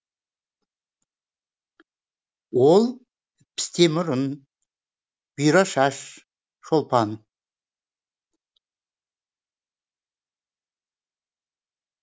ол пісте мұрын бұйра шаш шолпан